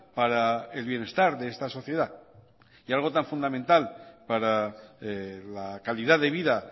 para el bienestar de esta sociedad y algo tan fundamental para la calidad de vida